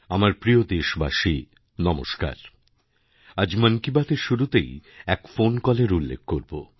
আমার প্রিয় দেশবাসী নমস্কার আজ মন কি বাতএর শুরুতেইএক ফোন কলের উল্লেখ করব